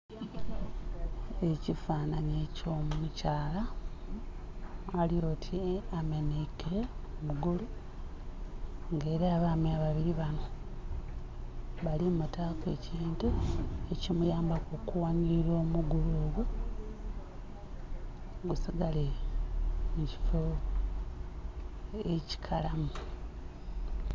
Ekifananhye ekyo mukyala alyoti amenhaike mugulu nga era abaami babiri banho bali mutaku ekintu eki muyambaku okughanhilila omugulu ogwo gusigale mu kifo eki kalamu.